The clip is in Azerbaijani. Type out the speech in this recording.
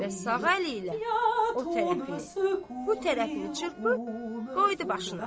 Və sağ əli ilə o tərəfini bu tərəfini çırpıb qoydu başına.